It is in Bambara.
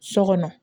So kɔnɔ